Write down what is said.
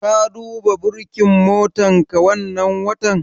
Ka duba burkin motarka wannan watan?